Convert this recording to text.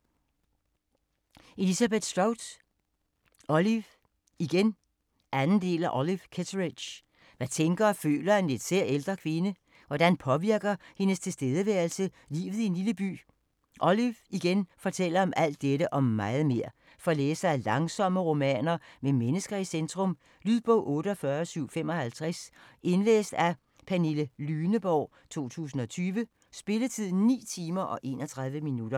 Strout, Elizabeth: Olive, igen 2. del af Olive Kitteridge. Hvad tænker og føler en lidt sær, ældre kvinde? Hvordan påvirker hendes tilstedeværelse livet i en lille by? "Olive, igen" fortæller om alt dette, og meget mere. For læsere af langsomme romaner med mennesker i centrum. Lydbog 48755 Indlæst af Pernille Lyneborg, 2020. Spilletid: 9 timer, 31 minutter.